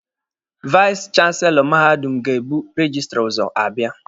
Vais chanselọ mahadum ga-ebu rejistra ụzọ abịa.